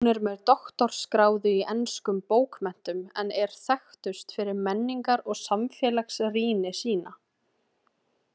Hún er með doktorsgráðu í enskum bókmenntum en er þekktust fyrir menningar- og samfélagsrýni sína.